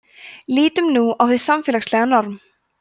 lítum nú á hið samfélagslega norm